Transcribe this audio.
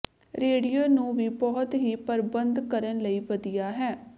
radio ਨੂੰ ਵੀ ਬਹੁਤ ਹੀ ਪਰਬੰਧ ਕਰਨ ਲਈ ਵਧੀਆ ਹੈ